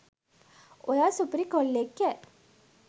ඔයා සුපිරි කොල්ලෙක් ඈ.